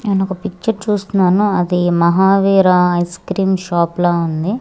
నేనొక పిక్చర్ చూస్తున్నాను ఆది మహావీర ఐస్క్రీమ్ షాప్ లా ఉంది.